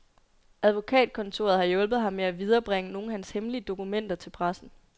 Advokatkontoret har hjulpet ham med at viderebringe nogle af hans hemmelige dokumenter til pressen.